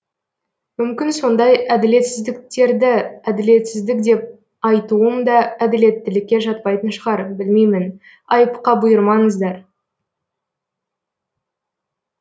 мүмкін сондай әділетсіздіктерді әділетсіздік деп айтуым да әділеттілікке жатпайтын шығар білмеймін айыпқа бұйырмаңыздар